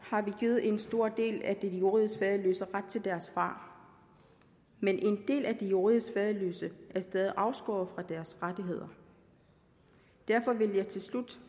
har vi givet en stor del af de juridisk faderløse ret til deres far men en del af de juridisk faderløse er stadig afskåret fra deres rettigheder derfor vil jeg til slut